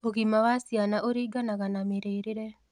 Ũgima wa ciana ũrĩnganaga na mĩrĩĩre